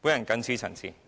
我謹此陳辭。